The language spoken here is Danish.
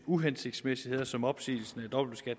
uhensigtsmæssigheder som opsigelsen